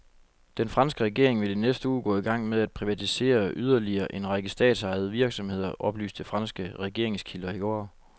Den franske regering vil i næste uge gå i gang med at privatisere yderligere en række statsejede virksomheder, oplyste franske regeringskilder i går.